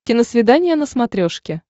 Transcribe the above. киносвидание на смотрешке